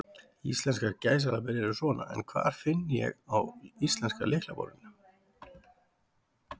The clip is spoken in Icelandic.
Íslenskar gæsalappir eru svona, en hvar finn ég á íslenska lyklaborðinu?